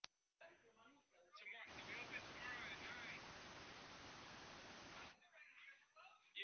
Sá þriðji frá Noregi, hinn fjórði frá Svíþjóð.